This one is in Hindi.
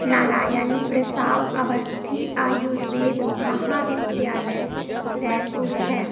नारायण प्रसाव अवस्थी आयुर्वेद महाविद्यालय रायपुर है।